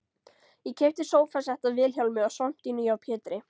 Ég keypti sófasett af Vilhjálmi og svampdýnu hjá Pétri